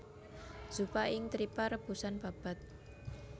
Zuppa ing trippa rebusan babat